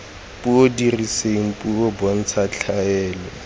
puo diriseng puo bontsha tlhaelo